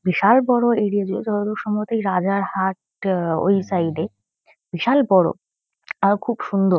বিশাল বড়ো এরিয়া জুড়ে। যতদূর সম্ভবত এই রাজারহাট আ ওই সাইড -এ। বিশাল বড়ো আর খুব সুন্দর ।